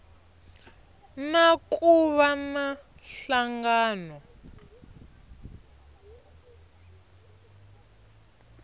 na ku va na nhlangano